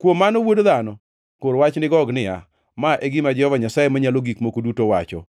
“Kuom mano, wuod dhano, kor wach ni Gog niya: Ma e gima Jehova Nyasaye Manyalo Gik Moko Duto wacho: